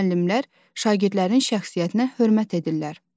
Müəllimlər şagirdlərin şəxsiyyətinə hörmət edirlər.